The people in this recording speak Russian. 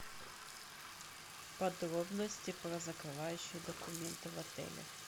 подробности про закрывающие документы в отеле